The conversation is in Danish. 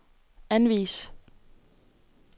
anvis